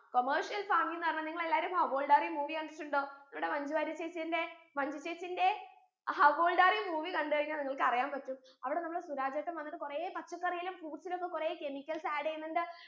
commercial farming എന്ന് പറഞ്ഞാ നിങ്ങൾ എല്ലാരും how old are you movie കണ്ടിട്ടുണ്ടോ അതിലൂടെ മഞ്ജു വാരിയർ ചേച്ചിന്റെ മഞ്ജു ചേച്ചിന്റെ how old are you movie കണ്ട് കഴിഞ്ഞാൽ നിങ്ങൾക്ക് അറിയാൻ പറ്റും അവിടെ നമ്മളെ സുരാജേട്ടൻ വന്നിട്ട് കൊറേ പച്ചക്കറിയിലും fruits ലും ഒക്കെ കൊറേ chemicals add എയ്യുന്നുണ്ട്